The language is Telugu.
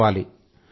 చేసుకోవాలి